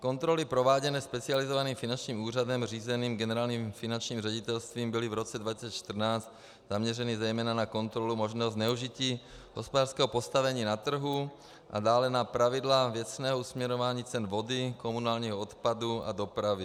Kontroly prováděné specializovaným finančním úřadem řízeným Generálním finančním ředitelstvím byly v roce 2014 zaměřeny zejména na kontrolu možného zneužití hospodářského postavení na trhu a dále na pravidla věcného směrování cen vody, komunálního odpadu a dopravy.